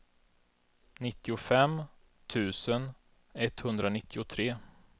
nittiofem tusen etthundranittiotre